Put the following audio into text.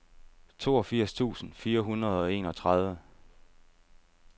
toogfirs tusind fire hundrede og enogtredive